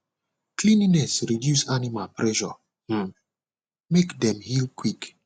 cleanliness reduce animal pressure um make dem heal quick